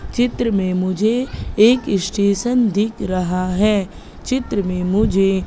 चित्र में मुझे एक इस्टेशन दिख रहा है चित्र में मुझे--